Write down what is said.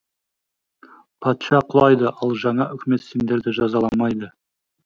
патша құлайды ал жаңа үкімет сендерді жазаламайды